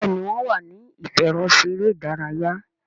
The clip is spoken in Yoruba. Béèni wón wá ní ìfẹ̀rọṣeré ìdárayá.